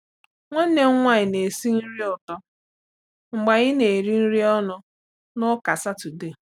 Nwanne m nwanyị na-esi nri ụtọ mgbe anyị na-eri nri ọnụ n’Ụka Sátọdee.